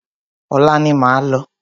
Ọ̀la ni máa lọ.